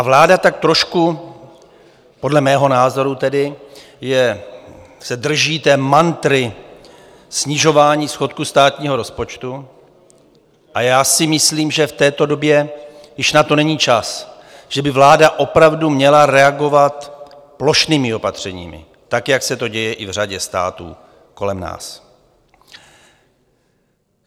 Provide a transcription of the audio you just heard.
A vláda tak trošku podle mého názoru tedy se drží té mantry snižování schodku státního rozpočtu, a já si myslím, že v této době už na to není čas, že by vláda opravdu měla reagovat plošnými opatřeními, tak jak se to děje i v řadě států kolem nás.